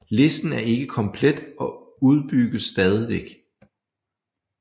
Listen er ikke komplet og udbygges stadigvæk